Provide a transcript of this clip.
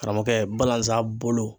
Karamɔgɔkɛ balazan bolo.